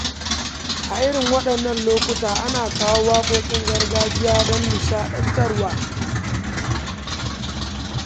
A irin waɗannan lokuta, ana kawo waƙoƙin gargajiya don nishaɗantarwa.